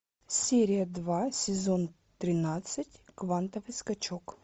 серия два сезон тринадцать квантовый скачок